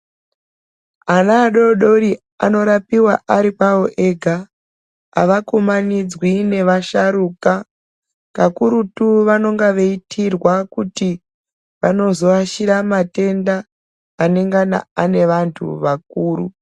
Ana adodori anorapiwa aripawo ega hava kumanidzwi nevasharukwa kakurutu vanonga veiitirwa kuti vanozoashira matenda anenge ane vantu vakuru.